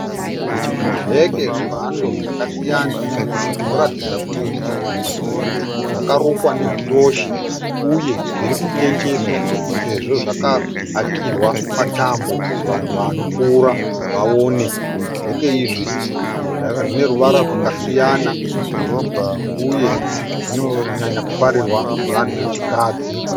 Zvibheke zvemhando zvakasiyana zvinoratidza kuti zvakarukwa nekiroshi uye zvirikutengeswa sezvo zvakahakirwa patambo kuti vanhu vanopfuura vaone. Zvibheke izvi zvine ruvara rwakasiyana uye zvinonyanya kufarirwa nevanhu vechikadzi.